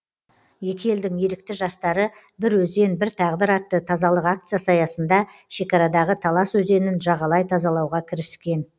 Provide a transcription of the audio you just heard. екі елдің ерікті жастары бір өзен бір тағдыр атты тазалық акциясы аясында шекарадағы талас өзенін жағалай тазалауға кіріскен